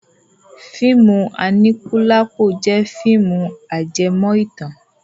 Fíìmù Aníkúlápó jẹ́ fíìmù ajẹmọ́ ìtàn.